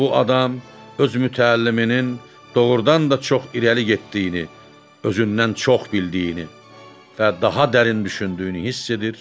Bu adam öz mütəlliminin doğrudan da çox irəli getdiyini, özündən çox bildiyini və daha dərin düşündüyünü hiss edir.